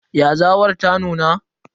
Yazawar ta nuna?